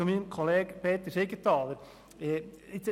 Zu meinem Kollegen Siegenthaler: